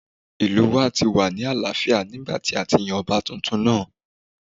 Ìlú wa ti wà ní àlááfíà nígbàtí a ti yan ọba tuntun náà